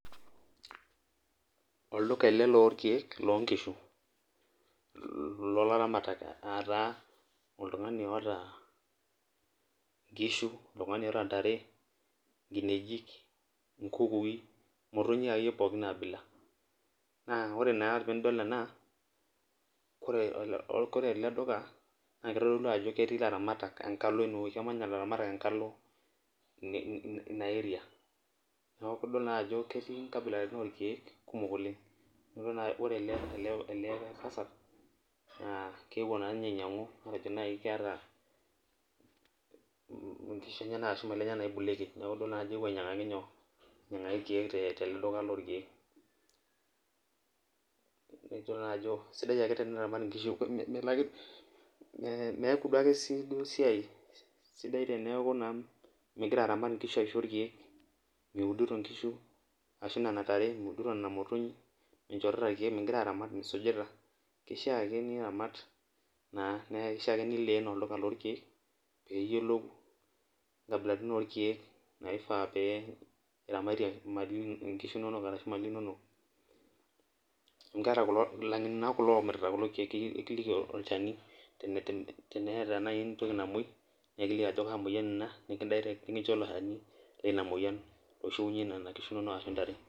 Olduka ele lorkeek lonkishu. Lolaramatak ataa oltung'ani oota nkishu, oltung'ani oota ntare, nkineji, inkukui imotonyik akeyie pookin abila. Na ore naa pidol ena, kore ele duka, na kitodolu ajo ketii laramatak enkalo inewoi, kemanya ilaramatak enkalo inewoi, ina area. Kitodolu naajo ketii nkabilaritin orkeek kumok oleng. Ore ele tasat naa keewuo naanye ainyang'u matejo nai keeta inkishu enyanak ashu mali enyanak naibulueki, neku idol najo eewuo ainyang'aki irkeek tolduka lorkeek. Idol najo sidai ake teniramat inkishu meku duo si duo esiai sidai teneeku naa migira aramat inkishu aisho irkeek, miudito nkishu ashu nena tare, miudito nena motonyik, minchorita irkeek, migira aramat misujita, kishaa ake niramat naa, na kishaa ake nileen olduka lorkeek, piyiolou inkabilaritin orkeek naifaa pee iramatie imali inonok, inkishu inonok arashu imali inonok. Amu keeta ilang'eni naa kulo omirta kulo keek ekiliki olchani teneeta nai entoki namoi, nekiliki ajo kaa moyian ina, nikincho ilo shani lina moyian oishiunye nena kishu nonok ashu ntare.